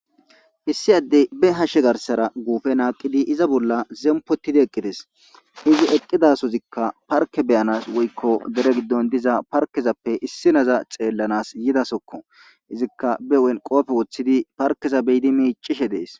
hissi addey be hashshe garsara guufe naaqidi iza bolla zempotidi eqqides izi eqqidasozikka parke beyanas woykko dere giddon diza parkezappe issi naza xeellanas yidasokko izikka be wenqopfe woththidi parkeza beyidi miicishe dees